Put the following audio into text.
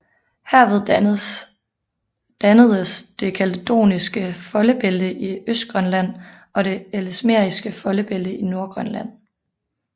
Herved dannedes det kaledoniske foldebælte i Østgrønland og det ellesmeriske foldebælte i Nordgrønland